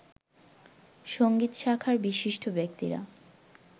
সংগীত শাখার বিশিষ্ট ব্যক্তিরা